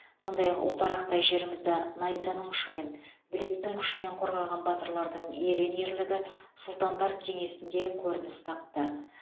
сондай ақ ұлтарақтай жерімізді найзаның ұшымен білектің күшімен қорғаған батырлардың ерен ерлігі сұлтандар кеңесінде көрініс тапты